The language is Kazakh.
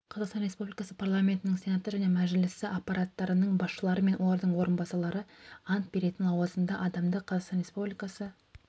қазақстан республикасы парламентінің сенаты және мәжілісі аппараттарының басшылары мен олардың орынбасарлары ант беретін лауазымды адамды қазақстан республикасы